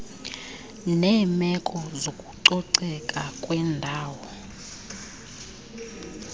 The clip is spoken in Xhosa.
neemeko zokucoceka kwendawo